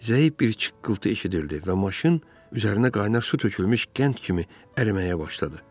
Zəif bir çıqqıltı eşidildi və maşın üzərinə qaynar su tökülmüş qənd kimi əriməyə başladı.